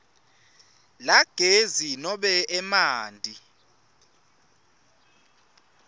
lagezi nobe emanti